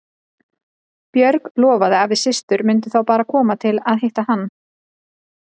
Björg lofaði að við systur myndum þá bara koma til að hitta hann.